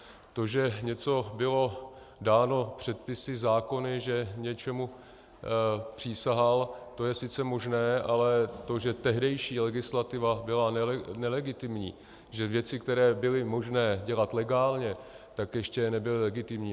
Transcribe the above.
To, že něco bylo dáno předpisy, zákony, že něčemu přísahal, to je sice možné, ale to, že tehdejší legislativa byla nelegitimní, že věci, které byly možné dělat legálně, tak ještě nebyly legitimní.